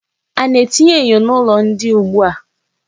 A na-etinye enyo n'ụlọ ndina ugbua.